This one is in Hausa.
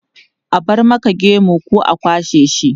A bar maka gemu ko a kwashe shi?